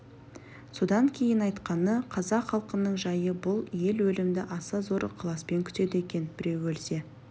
содан кейін айтқаны қазақ халқының жайы бұл ел өлімді аса зор ықыласпен күтеді екен біреу өлсе